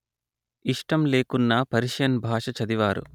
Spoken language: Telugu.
ఇష్టంలేకున్నా పర్షియన్ భాష చదివారు